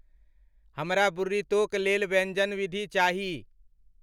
हमरा बुर्रितो क लेल व्यंजन विधि चाहि